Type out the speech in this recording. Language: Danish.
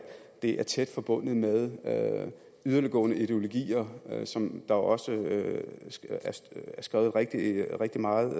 det er tæt forbundet med yderliggående ideologier som der også er skrevet rigtig rigtig meget